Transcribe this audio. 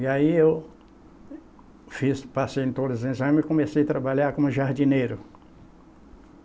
E aí, eu fiz, passei em todos os exames e comecei a trabalhar como jardineiro.